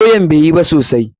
Lawyan bai yi ba sosai.